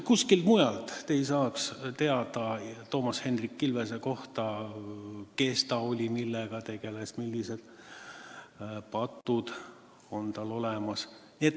Kuskilt mujalt te ei oleks saanud teada Toomas Hendrik Ilvese kohta, kes ta oli: millega ta tegeles, millised patud tal olemas olid.